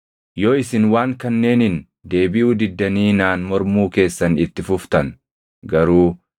“ ‘Yoo isin waan kanneeniin deebiʼuu diddanii naan mormuu keessan itti fuftan garuu,